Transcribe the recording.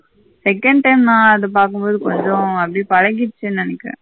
second time நா அது பாக்கும்போது கொஞ்சம் அப்டியே பலகிரிச்சினு நெனைக்குற.